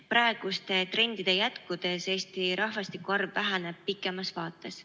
Praeguste trendide jätkudes Eesti rahvastiku arv väheneb pikemas vaates.